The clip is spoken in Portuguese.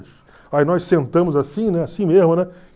Aí nós sentamos assim, né, assim mesmo, né?